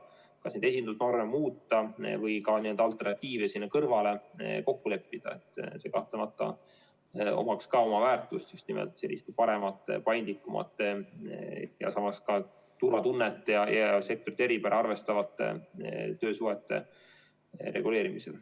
See, kas neid esindusvorme muuta või ka alternatiive kokku leppida, omaks kahtlemata väärtust just nimelt paremate, paindlikumate ja samas ka turvatunnet ja sektorite eripära arvestavate töösuhete reguleerimisel.